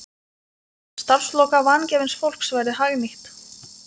Að starfsorka vangefins fólks verði hagnýtt.